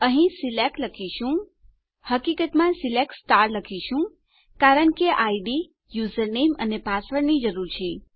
અહીં આપણે સિલેક્ટ લખીશું હકીકતમાં સિલેક્ટ લખીશું કારણ કે આપણને ઇડ યુઝર નેમ અને પાસવર્ડની જરૂર છે